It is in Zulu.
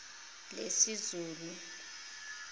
lesizulu